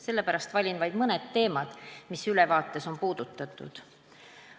Sellepärast valin vaid mõne teema, mida ülevaates on puudutatud.